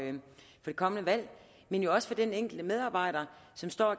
det kommende valg men jo også for den enkelte medarbejder